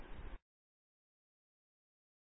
এই তীর কে আরও বড় করার জন্য প্রথমে তা নির্বাচন করুন